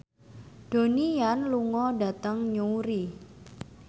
Donnie Yan lunga dhateng Newry